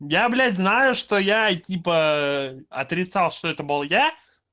я блять знаю что я типа отрицал что это был я